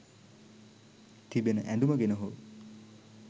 තිබෙන ඇඳුම ගැන හෝ